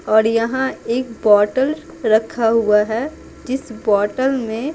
और यहाँ एक बोतल रखा हुआ है जिस बोतल में--